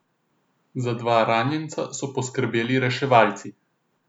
Za dva ranjenca so poskrbeli reševalci.